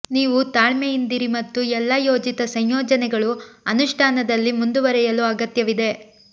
ನೀವು ತಾಳ್ಮೆಯಿಂದಿರಿ ಮತ್ತು ಎಲ್ಲಾ ಯೋಜಿತ ಸಂಯೋಜನೆಗಳು ಅನುಷ್ಠಾನದಲ್ಲಿ ಮುಂದುವರೆಯಲು ಅಗತ್ಯವಿದೆ